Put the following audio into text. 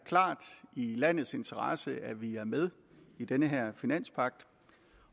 i landets interesse at vi er med i denne finanspagt